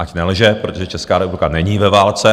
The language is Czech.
Ať nelže, protože Česká republika není ve válce.